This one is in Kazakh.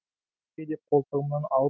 көке деп қолтығымнан алып